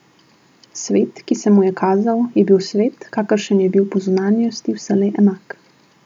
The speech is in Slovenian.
Svet, ki se mu je kazal, je bil svet, kakršen je bil po zunanjosti vselej enak.